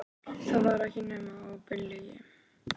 Það var ekki nema óbein lygi.